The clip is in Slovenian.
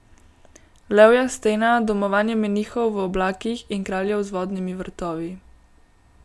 Levja stena, domovanje menihov v oblakih in kraljev z vodnimi vrtovi.